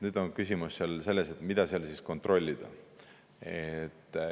Nüüd on küsimus selles, et mida seal siis kontrollida.